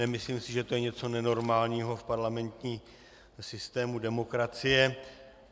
Nemyslím si, že to je něco nenormálního v parlamentním systému demokracie.